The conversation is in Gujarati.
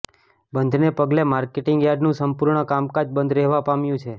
બંધ ને પગલે માર્કેટીંગ યાર્ડનું સંપૂર્ણ કામકાજ બંધ રહેવા પામ્યું છે